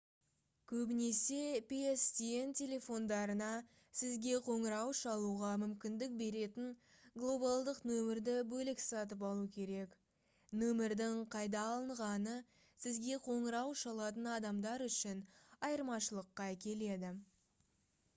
көбінесе pstn телефондарына сізге қоңырау шалуға мүмкіндік беретін глобалдық нөмірді бөлек сатып алу керек нөмірдің қайда алынғаны сізге қоңырау шалатын адамдар үшін айырмашылыққа әкеледі